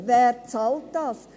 Wer bezahlt das?